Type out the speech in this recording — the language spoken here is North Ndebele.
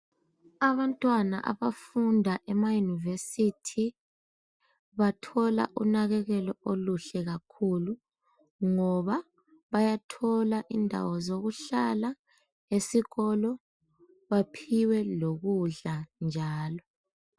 Abantwana abafunda emayunivesithi bathola usizo obukhulu lokunanakelelwa ,bayathola indawo zokuhlala baphiwe lokudla njalo.